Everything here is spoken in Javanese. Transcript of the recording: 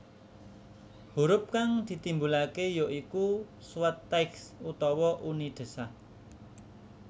Hurup kang ditimbulake ya iku suathaich utawa uni desah